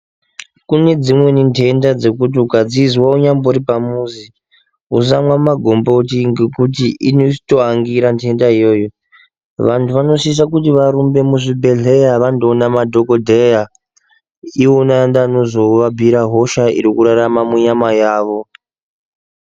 Kune dzimweni ndhendha dzekuti ukadzizwa unyambori pamuzi usamwa magomboti ngekuti inozotoangira ndhendha iyoyo, vandhu vanoshisha kuti varumbe muzvibhehleya vandoona madhokodheya iwona ndoanozoabhuyira hosha irikurarama munyama yavo